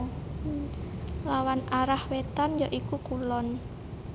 Lawan arah wétan ya iku kulon